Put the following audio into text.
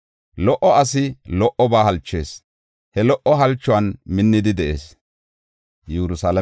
Lo77o asi lo77oba halchees; he lo77o halchuwan minnidi de7ees.